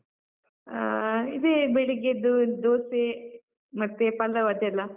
ಆಹ್, ಇದೇ ಬೆಳಿಗ್ಗೆ ಎದ್ದು ದೋಸೆ, ಮತ್ತೆ ಪಲಾವ್ ಅದೆಲ್ಲ.